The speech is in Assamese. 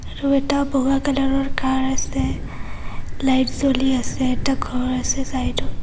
আৰু এটা বগা কালাৰৰ কাৰ আছে লাইট জ্বলি আছে এটা ঘৰ আছে চাইডত।